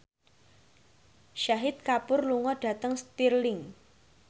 Shahid Kapoor lunga dhateng Stirling